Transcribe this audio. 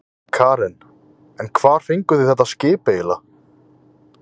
Karen: En hvar fenguð þið þetta skip eiginlega?